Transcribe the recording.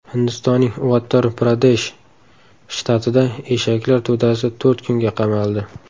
Hindistonning Uttar-Pradesh shtatida eshaklar to‘dasi to‘rt kunga qamaldi.